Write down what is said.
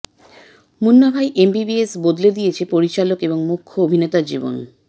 Munnabhai MBBS বদলে দিয়েছে পরিচালক এবং মুখ্য অভিনেতার জীবন